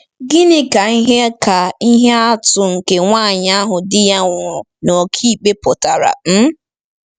Gịnị ka ihe ka ihe atụ nke nwanyị ahụ di ya nwụrụ na ọkàikpe pụtara? um